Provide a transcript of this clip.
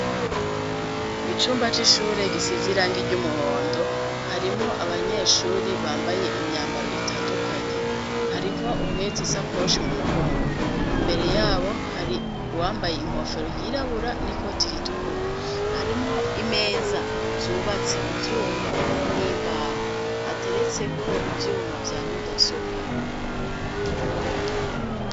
Icumba cishure gisize irangi iry'umuhondo harimwo abanyeshuri bambaye imyambaro itandukanye harimwo ubuhetse isakoshi mu mugongo imbere yabo hari wambaye inkofero yirabura ni ko tiritukura harimwo imeza zubatse mu byuma n'imbahu hateretse ko byuma bya mudasobwa.